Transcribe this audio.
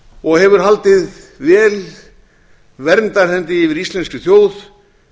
og hefur haldið vel verndarhendi yfir íslenskri þjóð